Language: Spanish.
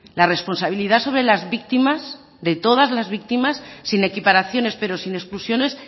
la responsabilidad sobre las víctimas de todas las víctimas sin equiparaciones pero sin exclusiones